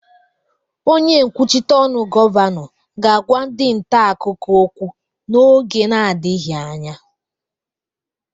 Onye nkwuchite ọnụ Gọvanọ ga-agwa ndị nta akụkọ okwu n'oge na-adịghị anya